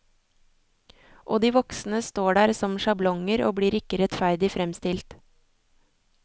Og de voksne står der som sjablonger og blir ikke rettferdig fremstilt.